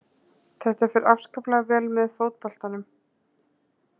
Þetta fer afskaplega vel með fótboltanum.